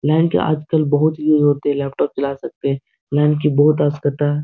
line के आजकल बहुत यूज़ होते हैं लैपटॉप चला सकते हैं लाइन के बहुत आवश्यकता --